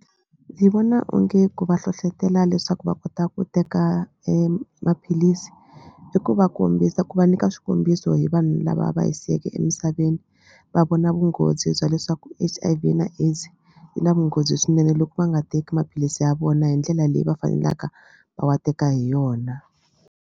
Ndzi vona onge ku va hlohlotela leswaku va kota ku teka maphilisi i ku va kombisa ku va nyika swikombiso hi vanhu lava va hi siyeke emisaveni va vona vunghozi bya leswaku H_I_V na AIDS yi na vunghozi swinene loko va nga teki maphilisi ya vona hi ndlela leyi va fanelaka va wa teka hi yona.